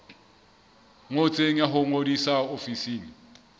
ngotsweng ya ho ngodisa ofising